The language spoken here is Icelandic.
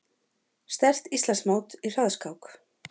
Sterkt Íslandsmót í hraðskák